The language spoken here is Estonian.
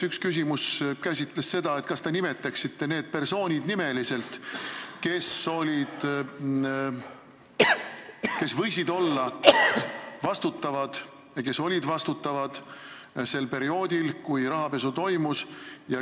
Üks arupärimise küsimus oli, kas te nimetaksite need persoonid, kes võisid olla vastutavad ja kes olid vastutavad sel perioodil, kui rahapesu toimus.